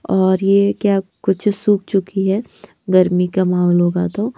और ये क्या कुछ सुख चुकी है गर्मी का माहौल होगा तो।